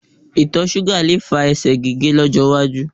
Itọ ṣuga le fa ẹsẹ̀ gige lọjọ waju